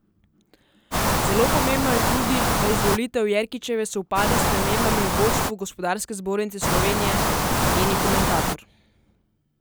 Zelo pomembno je tudi, da izvolitev Jerkičeve sovpada s spremembami v vodstvu Gospodarske zbornice Slovenije, meni komentator.